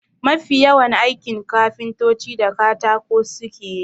Mafi yawan aikin kafintoci da katako suke yi.